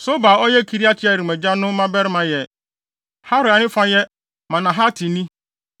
Sobal a ɔyɛ Kiriat-Yearim agya no mmabarima yɛ Haroe a ne fa yɛ Manahatini